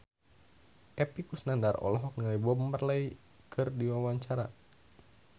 Epy Kusnandar olohok ningali Bob Marley keur diwawancara